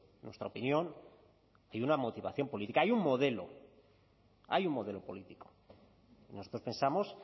en nuestra opinión hay una motivación política hay un modelo hay un modelo político nosotros pensamos